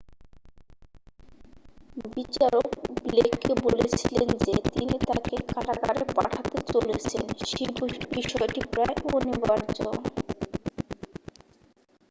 "বিচারক ব্লেককে বলেছিলেন যে তিনি তাকে কারাগারে পাঠাতে চলেছেন সে বিষয়টি "প্রায় অনিবার্য""।